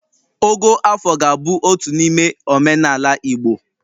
Ogo afọ ga na-abụ otu n’ime omenala Igbo